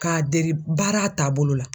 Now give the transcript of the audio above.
Ka dege baara taabolo la.